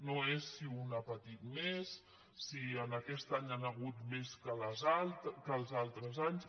no és si un ha patit més si aquest any n’hi han hagut més que els altres anys